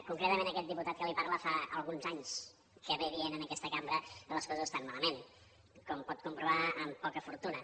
concretament aquest diputat que li parla fa alguns anys que diu en aquesta cambra que les coses estan malament com pot comprovar amb poca fortuna